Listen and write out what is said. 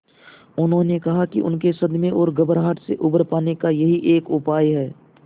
उन्होंने कहा कि उनके सदमे और घबराहट से उबर पाने का यही एक उपाय है